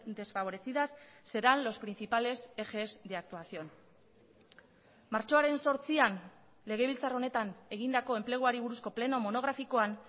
desfavorecidas serán los principales ejes de actuación martxoaren zortzian legebiltzar honetan egindako enpleguari buruzko pleno monografikoan